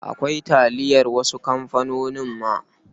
Akwai taliyar wasu kamfanonin ma.